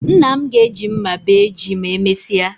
Nna m ga-eji mma bee ji ma emesịa